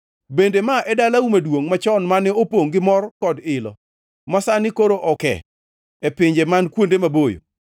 Bende ma e dalau maduongʼ machon mane opongʼ gi mor kod ilo masani koro oke e pinje man kuonde maboyo.